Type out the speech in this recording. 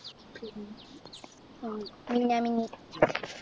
പിന്നെ ആഹ് മിന്നാമിന്നി